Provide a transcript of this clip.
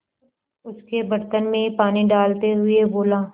उसके बर्तन में पानी डालते हुए बोला